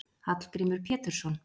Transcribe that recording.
Hallgrímur Pétursson.